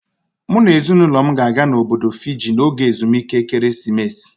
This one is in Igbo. M na ezinaụlọ m ga-aga Obodo Fiji n'oge ezumike ekeresimesi